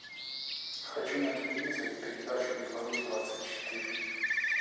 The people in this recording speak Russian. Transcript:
хочу на телевизоре передачу беларусь двадцать четыре